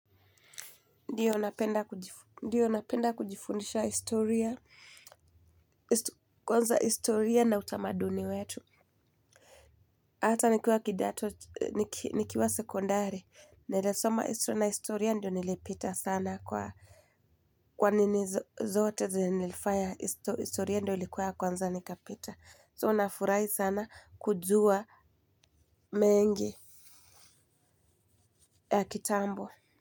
Ndio napenda kujifundisha historia, kwanza historia na utamaduni wetu. Hata nikiwa kidato, nikiwa sekondari. Nilisoma historia na historia ndio nilipita sana kwa nini zote zenye nilifaya historia ndio ilikuwa ya kwanza nikapita. So nafurahi sana kujua mengi ya kitambo.